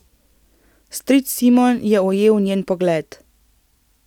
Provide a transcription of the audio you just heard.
Stric Simon je ujel njen pogled.